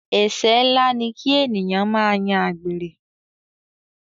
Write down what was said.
Ẹsẹ nlá ni ki ènìyàn máa yan àgbèrè.